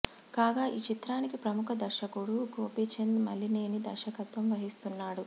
కాగా ఈ చిత్రానికి ప్రముఖ దర్శకుడు గోపీచంద్ మలినేని దర్శకత్వం వహిస్తున్నాడు